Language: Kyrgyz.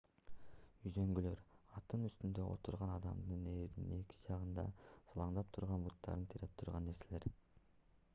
үзөңгүлөр аттын үстүндө отурган адамдын ээрдин эки жагында салаңдап турган буттарын тиреп турган нерселер